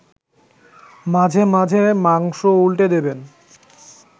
মাঝে মাঝে মাংস উল্টে দেবেন